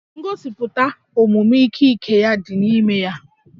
Ngosipụta omume ike ike ya dị n'ime ya